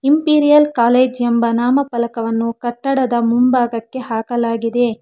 Imperial college ಎಂಬ ನಾಮಪಲಕವನ್ನು ಕಟ್ಟಡದ ಮುಂಭಾಗಕ್ಕೆ ಹಾಕಲಾಗಿದೆ.